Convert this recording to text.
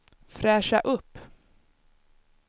fräscha upp